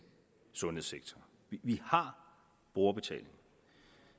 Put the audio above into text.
sundhedssektor vi har brugerbetaling